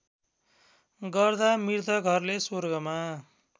गर्दा मृतकहरूले स्वर्गमा